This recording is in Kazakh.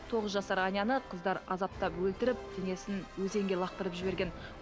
тоғыз жасар аняны қыздар азаптап өлтіріп денесін өзенге лақтырып жіберген